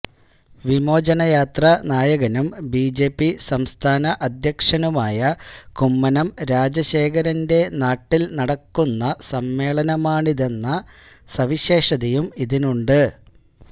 വിമോചനയാത്ര നായകനും ബിജെപി സംസ്ഥാന അദ്ധ്യക്ഷനുമായ കുമ്മനം രാജശേഖരന്റെ നാട്ടില് നടക്കുന്ന സമ്മേളനമാണിതെന്ന സവിശേഷതയും ഇതിനുണ്ട്